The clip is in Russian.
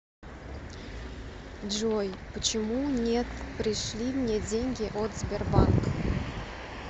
джой почему нет пришли мне деньги от сбербанк